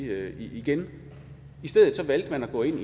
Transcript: det igen i stedet valgte man at gå ind